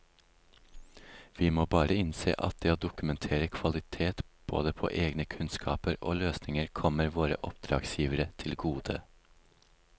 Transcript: Vi må bare innse at det å dokumentere kvalitet både på egne kunnskaper og løsninger kommer våre oppdragsgivere til gode.